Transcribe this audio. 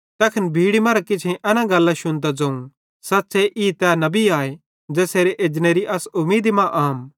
तैखन भीड़ी मरां किछेईं एना गल्लां शुन्तां ज़ोवं सच़्च़े ई तै नबी आए ज़ेसेरे एजनेरी अस उमीदी मां आम